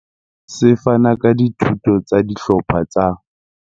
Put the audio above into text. Se fana ka dithuto tsa dihlopha tsa.